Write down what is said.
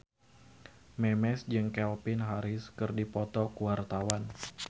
Memes jeung Calvin Harris keur dipoto ku wartawan